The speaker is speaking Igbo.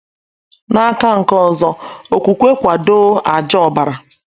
N’aka nke ọzọ, okwukwe kwadoo àjà Obara.